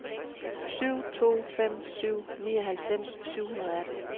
syv to fem syv nioghalvfems syv hundrede og atten